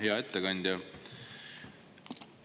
Hea ettekandja!